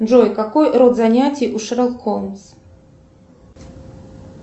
джой какой род занятий у шерлок холмс